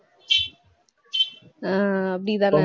ஆஹ் அப்படித்தானே